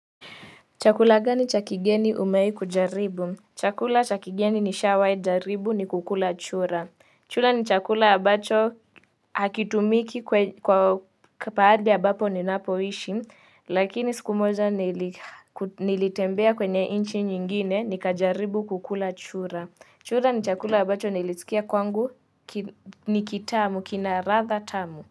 Chakula gani cha kigeni umewahi kujaribu? Chakula cha kigeni ni shawahi jaribu ni kukula chura. Chura ni chakula ambacho hakitumiki kwa baadhi ambapo ninapo ishi lakini siku moja nilitembea kwenye nchi nyingine nikajaribu kukula chura. Chura ni chakula ambacho nilisikia kwangu ni kitamu kina ladha tamu.